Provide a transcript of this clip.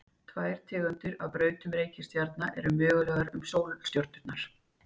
tvær tegundir af brautum reikistjarna eru mögulegar um sólstjörnurnar